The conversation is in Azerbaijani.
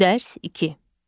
Dərs 2.